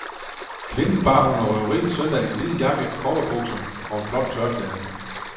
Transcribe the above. Kvinden bar under røverierne søndag en hvid jakke, cowboybukser og et blåt tørklæde.